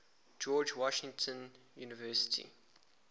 george washington university